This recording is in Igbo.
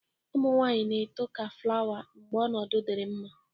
Ụmụ nwaanyị na-eto ka flawa mgbe ọnọdụ dịrị mma.